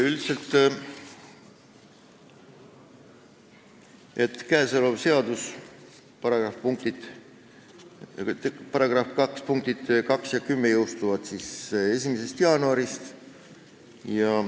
Seaduse § 2 punktid 2–10 jõustuvad 1. jaanuarist.